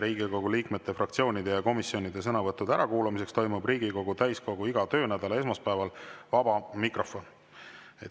"Riigikogu liikmete, fraktsioonide ja komisjonide sõnavõttude ärakuulamiseks toimub Riigikogu täiskogu iga töönädala esmaspäeval vaba mikrofon.